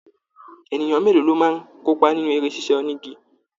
Ènìyàn mélòó lo máa n kópa nínú eré sisa onígí?